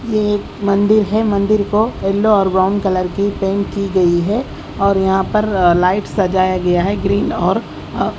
ये एक मंदिर है मंदिर को यल्लो और ब्राउन कलर की पेंट की गई है और यहां पर अ लाइट सजाया गया है ग्रीन और अ--